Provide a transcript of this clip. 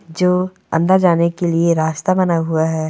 जो अंदर जाने के लिए रास्ता बना हुआ हैं।